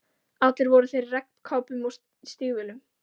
Allir voru þeir í regnkápum og stígvélum.